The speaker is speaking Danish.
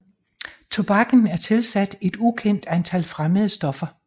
Tobakken er tilsat et ukendt antal fremmede stoffer